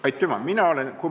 Aitüma!